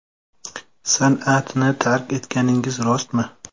San’atni tark etganingiz rostmi?